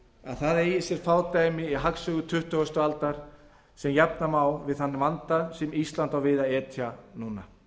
að það séu fá dæmi í hagsögu tuttugustu aldar sem jafna má við þann vanda sem ísland á við að etja núna